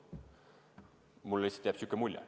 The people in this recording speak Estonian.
Mul lihtsalt on selline mulje.